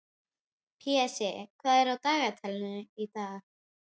Pési, hvað er á dagatalinu í dag?